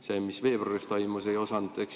Seda, mis veebruaris toimus, ei osatud.